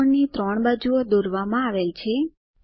ત્રિકોણની 3 બાજુઓ દોરવામાં આવેલ છે